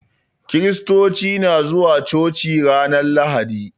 Kristoci na zuwa coci ranar lahadi